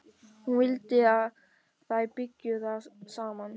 Hún vildi að þær byggju þar saman.